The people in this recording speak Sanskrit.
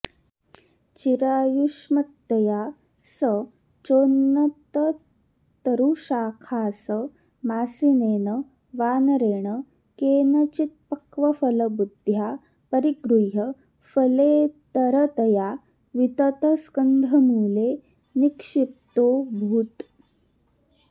चिरायुष्मत्तया स चोन्नततरुशाखासमासीनेन वानरेण केनचित्पक्वफलबुद्ध्या परिगृह्य फलेतरतया विततस्कन्धमूले निक्षिप्तोऽभूत्